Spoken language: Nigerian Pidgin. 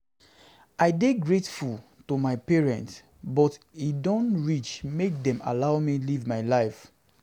I dey grateful to my parents but e don reach make dem allow me live my life